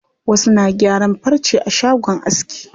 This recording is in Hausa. Wasu na gyaran farce a shagon aski.